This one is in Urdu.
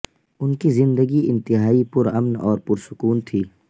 ان کی زندگی انتہائی پر امن اور پرسکون تھی